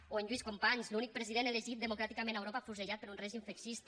o en lluís companys l’únic president elegit democràticament a europa afusellat per un règim feixista